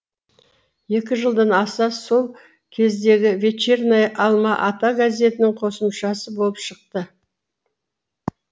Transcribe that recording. екі жылдан аса сол кездегі вечерняя алма ата газетінің қосымшасы болып шықты